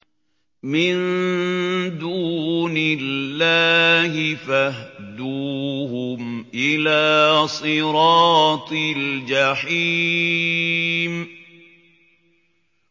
مِن دُونِ اللَّهِ فَاهْدُوهُمْ إِلَىٰ صِرَاطِ الْجَحِيمِ